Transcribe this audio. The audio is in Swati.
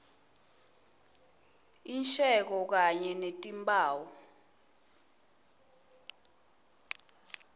insheko kanye netimphawu